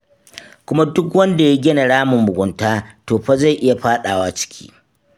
Kuma duk wanda ya gina ramin mugunta, to fa zai iya faɗawa ciki.